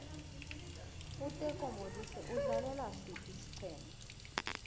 uteko modise udlalela siphi isiqema